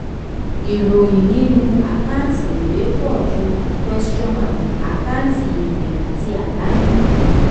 ìròyìn nínú àkáǹtì èrè pọ̀ ju àkáǹtì èrè àti àdánù.